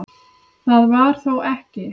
Það var þó ekki